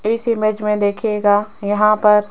इस इमेज में देखिएगा यहां पर--